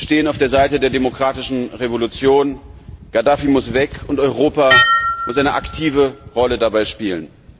Wir stehen auf der Seite der demokratischen Revolution, Gaddafi muss weg und Europa muss eine aktive Rolle dabei spielen.